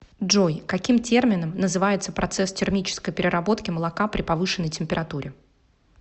джой каким термином называется процесс термической переработки молока при повышенной температуре